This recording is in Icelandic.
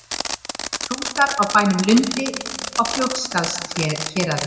Hrútar á bænum Lundi á Fljótsdalshéraði.